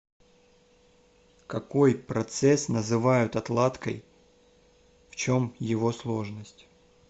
какой процесс называют отладкой в чем его сложность